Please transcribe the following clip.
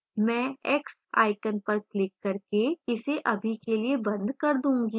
मैं x icon पर click करके इसे अभी के लिए बंद कर दूंगी